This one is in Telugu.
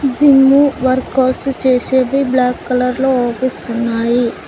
జిమ్ వర్కఅవుట్ చేసేది బ్లాక్ కలర్ లో ఓపిస్తున్నాయి.